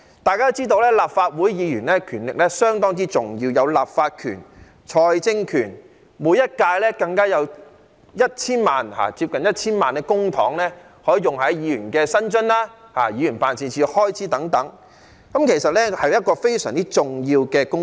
大家都知道，立法會議員的權力相當重要，有立法權和財政權，每一屆更加有接近 1,000 萬元的公帑，可用於議員的薪津和議員辦事處的開支等，其實是一個非常重要的公職。